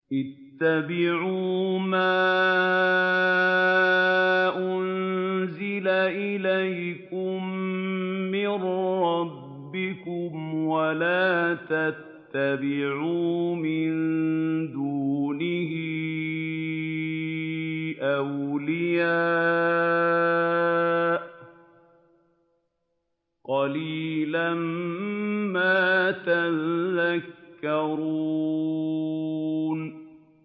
اتَّبِعُوا مَا أُنزِلَ إِلَيْكُم مِّن رَّبِّكُمْ وَلَا تَتَّبِعُوا مِن دُونِهِ أَوْلِيَاءَ ۗ قَلِيلًا مَّا تَذَكَّرُونَ